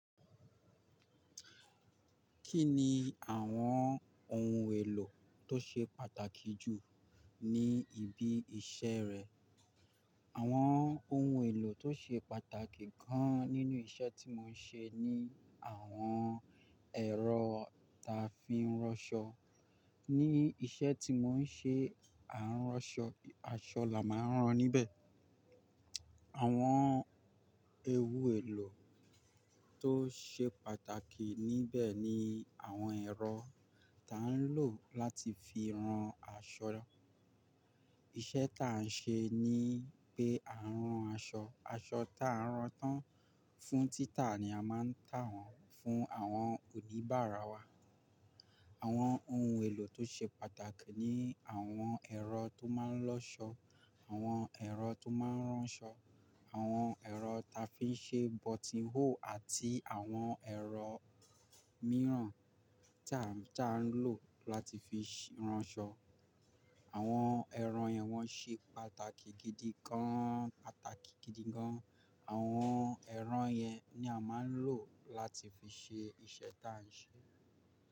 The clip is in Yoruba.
Kí ni àwọn ohun èlò tó ṣe pàtàkì jù ní ibi iṣẹ́ rẹ? Àwọn ohun èlò tó ṣe pàtàkì gan nínú iṣẹ́ tí mò ń ṣe ni àwọn ẹ̀rọ ta fi ń ránṣọ. Ní iṣẹ́ tí mò ń ṣe, à ń ránṣọ, aṣọ là má ń rán níbẹ̀. Àwọn ewu èlò tó ṣe pàtàkì níbẹ̀ ni àwọn ẹ̀rọ ta ń lò láti fi rán aṣọ. Iṣẹ́ ta ń ṣe ni pé à ń rán aṣọ, aṣọ ta ń rán tán fún títà ni a máa ń tà wọ́n fún àwọn oníbàárà wa. Àwọn ohun èlò tó ṣe pàtàkì ni àwọn ẹ̀rọ tó máa ń lọ́ṣọ́, àwọn ẹ̀rọ tó máa ń ránṣọ, àwọn ẹ̀rọ ta fi ń ṣe bọtín-hóò àti àwọn ẹ̀rọ mìíràn ta ń lò láti fi ránṣọ. Àwọn ẹ̀rọ yẹn wọ́n ṣe pàtàkì gidi gan, pàtàkì gidi gan. Àwọn ẹ̀rọ yẹn ni à máa ń lò láti fi ṣe iṣẹ́ ta ń ṣe.